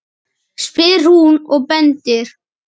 spyr hún og bendir.